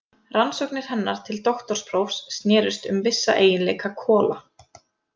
Rannsóknir hennar til doktorsprófs snerust um vissa eiginleika kola.